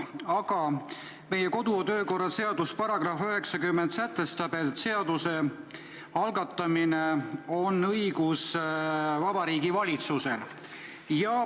Aga meie kodu- ja töökorra seaduse § 90 sätestab, et seaduse algatamiseks on õigus Vabariigi Valitsusel.